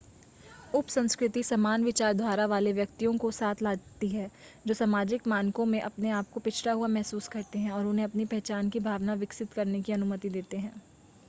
उपसंस्कृति समान विचारधारा वाले व्यक्तियों को साथ लाती है जो सामाजिक मानकों में अपने आप को पिछड़ा हुआ महसूस करते हैं और उन्हें अपनी पहचान की भावना विकसित करने की अनुमति देते हैं